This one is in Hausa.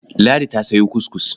Ladi ta sayo kuskus.